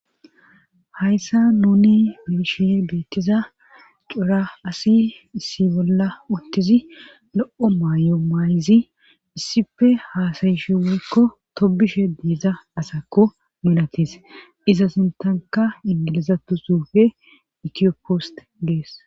hayssa nuni beeshe beettiza cura asi issi bolla uttizi lo7o maayo maayizi issife haasayishi woykko tobishe diiza asakko munatis iza sintanka ingilizatu suufe ekiyo poost gees